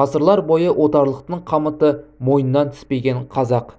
ғасырлар бойы отарлықтың қамыты мойынынан түспеген қазақ